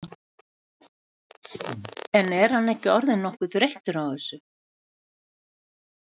En er hann ekki orðinn nokkuð þreyttur á þessu?